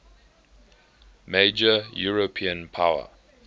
major european power